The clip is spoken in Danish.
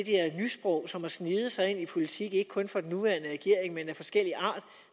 nysprog som har sneget sig ind i politik ikke kun for den nuværende regering men af forskellig art